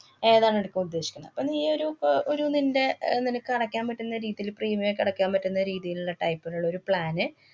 ഏതാണ് എടുക്കാന്‍ ഉദ്ദേശിക്കണെ? അപ്പ നീയൊരു പ~ ഒരു നിന്‍റെ അഹ് നിനക്ക് അടയ്ക്കാൻ പറ്റുന്ന രീതീല് premium ക്കെ അടയ്ക്കാന്‍ പറ്റുന്ന രീതീലുള്ള type ലുള്ളൊരു plan ന്